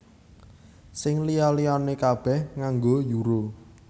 Sing liya liyané kabèh nganggo Euro